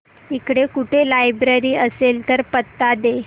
इकडे कुठे लायब्रेरी असेल तर पत्ता दे